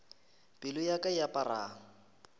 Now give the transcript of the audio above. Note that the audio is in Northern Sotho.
pelo ya ka e apara